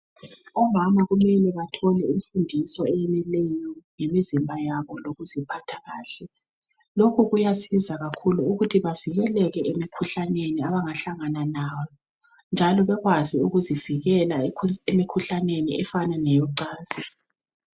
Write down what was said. Omama kumele bathole imfundiso eyeneleyo ngemizimba yabo, lokuziphatha kahle. Lokhu kuyasiza kakhulu, ukuthi bavikeleke emikhuhlaneni, abangahlangana nayo, njalo bakwazi ukuzivikela, emikhuhlaneni, efana leyocansi.